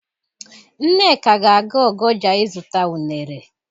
Nneka ga-aga Ogoja ịzụta unere.